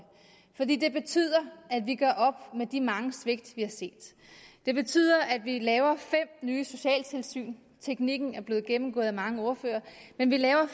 fordi det betyder at vi gør op med de mange svigt vi har set det betyder at vi laver fem nye socialtilsyn teknikken er blevet gennemgået af mange ordførere men vi laver